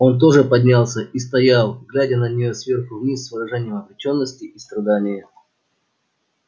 он тоже поднялся и стоял глядя на неё сверху вниз с выражением обречённости и страдания